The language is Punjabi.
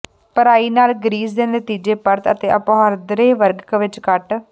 ਭਰਾਈ ਨਾਲ ਗਰੀਸ ਦੇ ਨਤੀਜੇ ਪਰਤ ਅਤੇ ਆਪਹੁਦਰੇ ਵਰਗ ਵਿੱਚ ਕੱਟ